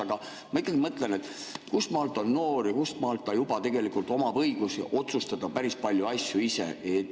Aga ma ikkagi mõtlen, et kustmaalt on noor ja kustmaalt ta juba omab õigusi otsustada päris palju asju ise.